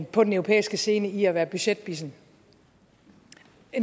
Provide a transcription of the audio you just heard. på den europæiske scene i at være budgetbissen